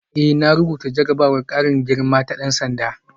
Eh na rubuta jarrabawar karin girma ta dan sanda